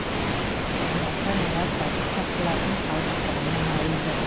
ал ата аналар тәртіп сақшыларының салғырттығына налиды